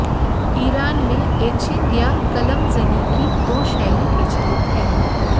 Iran में etching या क़लम ज़नी की दो शैली प्रचलित है